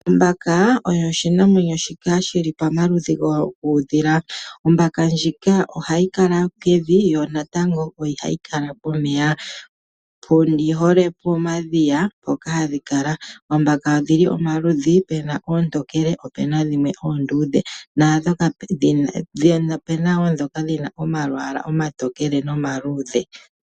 Ombaka oyo oshinamwenyo shoka shili pa malupe guudhila. Ombaka ndjika ohayi kala pevi yo natango ohayi kala pomeya. Oyi hole pomadhiya, mpoka hadhi kala. Ombaka odhili pa maludhi, puna oontokele, po opuna oondudhe.